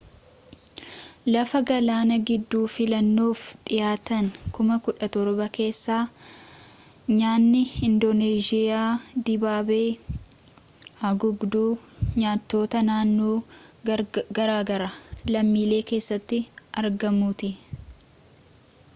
lafa galaana gidduu filannoof dhihaatan 17,000 keessaa nyaanni indooneezhiyaa dibaabee haguugduu nyaatota naannoo garaagaraa lammiilee keessatti argamuuti